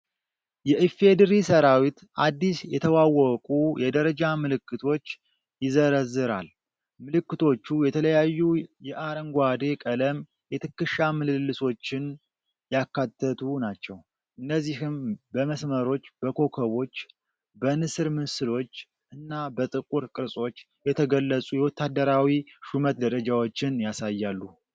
የኢፌዴሪ ሠራዊት አዲስ የተዋወቁ የደረጃ ምልክቶች ይዘረዝራል። ምልክቶቹ የተለያዩ የአረንጓዴ ቀለም የትከሻ ምልልሶችን ያካተቱ ናቸው። እነዚህም በመስመሮች፣ በኮከቦች፣ በንስር ምስሎች እና በጥቁር ቅርጾች የተገለጹ የወታደራዊ ሹመት ደረጃዎችን ያሳያሉ።